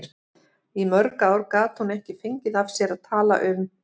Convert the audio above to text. Í mörg ár gat hún ekki fengið af sér að tala um